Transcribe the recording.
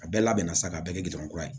A bɛɛ labɛnna sa ka bɛɛ kɛ gdɔrɔ kura ye